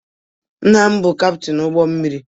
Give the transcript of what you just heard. Nna m bụ Kaptin ụgbọ mmiri.